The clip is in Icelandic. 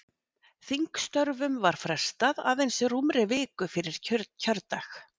Þingstörfum var frestað aðeins rúmri viku fyrir kjördag.